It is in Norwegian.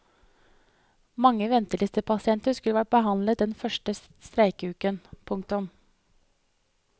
Mange ventelistepasienter skulle vært behandlet den første streikeuken. punktum